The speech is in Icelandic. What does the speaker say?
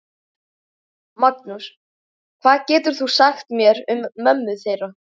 Magnús: Hvað getur þú sagt mér um mömmu þeirra?